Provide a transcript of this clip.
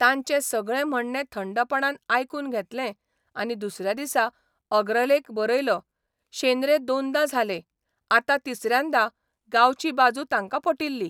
तांचें सगळें म्हणणें थंडपणान आयकून घेतलें आनी दुसऱ्या दिसा अग्रलेख बरयलो शेंद्रे दोनदा झाले, आता तिसऱ्यांदा 'गांवची बाजू तांकां पटिल्ली.